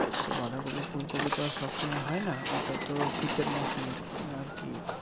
তো বাঁধাকপি ফুলকপি তো আর সব সময় হয় না? ওটা তো শীতের মরসুমের আরকি